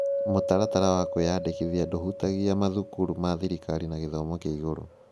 Mũtaratara wa kwĩyandĩkithia ndũhutagia mathukuru ma thirikari ma gĩthomo kĩa igũrũ.